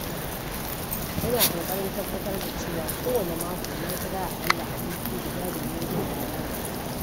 Ina ƙoƙarin tabbatar da cewa kowanne mako na kira akalla aboki guda domin jin labarinsa.